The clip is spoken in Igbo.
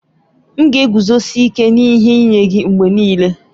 M ga-eguzosi ike n'ihe nye gị mgbe niile.